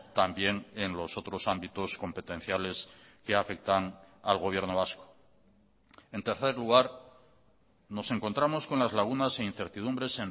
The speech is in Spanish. también en los otros ámbitos competenciales que afectan al gobierno vasco en tercer lugar nos encontramos con las lagunas e incertidumbres